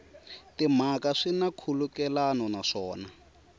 timhaka swi na nkhulukelano naswona